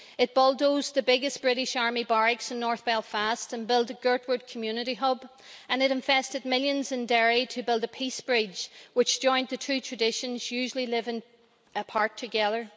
It bulldozed the biggest British army barracks in north Belfast and built the Girdwood Community Hub, and it invested millions in Derry to build a Peace Bridge which joined the two traditions, usually living apart, together.